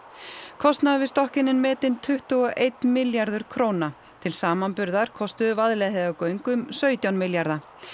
kostnaður við stokkinn er metinn tuttugu og einn milljarður króna til samanburðar kostuðu Vaðlaheiðargöng um sautján milljarða